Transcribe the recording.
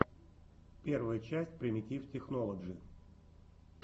первая часть примитив технолоджи